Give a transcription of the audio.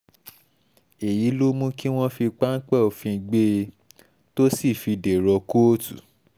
eyi lo mu ki wọn fi pampẹ ofin gbee to si fi derọ kootu